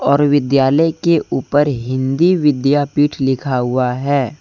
और विद्यालय के ऊपर हिंदी विद्यापीठ लिखा हुआ है।